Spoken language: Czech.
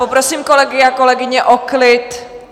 Poprosím kolegy a kolegyně o klid.